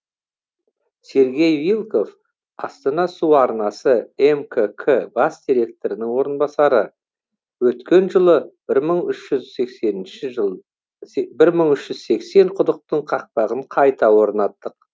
сергей вилков астана су арнасы мкк бас директорының орынбасары өткен жылы бір мың үш жүз сексенінші жыл бір мың үш жүз сексен құдықтың қақпағын қайта орнаттық